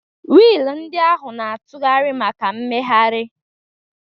Wiil ndị ahụ na-atụgharị maka mmegharị.